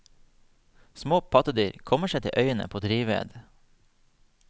Små pattedyr kommer seg til øyene på drivved.